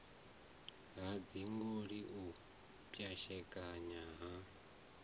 ha dzigoloi u pwashekana ha